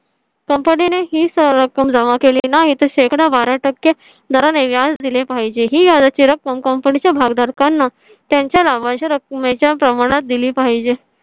company ने ही सर्व रक्कम जमा केली नाही तर शेकडा बारा टक्के दराने व्याज दिले पाहिजे ही याची रक्कम company च्या भागधारकांना त्यांच्या लाभांश रक्कमेच्या प्रमाणात दिली पाहिजे.